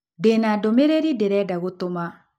Ndĩ na ndũmĩrĩri ndĩrenda gũtũma.